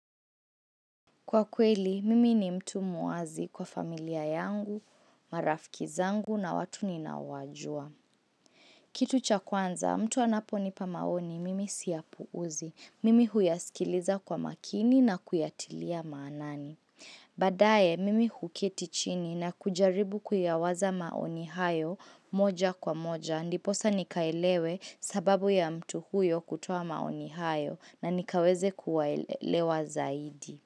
Kwa kweli, mimi ni mtu muazi kwa familia yangu, marafkizangu na watu ninawaojua. Kitu cha kwanza, mtu anapo nipa maoni, mimi siyapuuzi. Mimi huyaskiliza kwa makini na kuyatilia maanani. Badae, mimi huketichini na kujaribu kuyawaza maoni hayo moja kwa moja. Ndiposa nikaelewe sababu ya mtu huyo kutoa maoni hayo na nikaweze kuwaelewa zaidi.